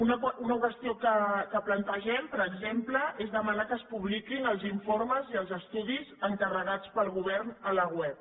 una qüestió que plantegem per exemple és demanar que es publiquin els informes i els estudis encarregats pel govern a la web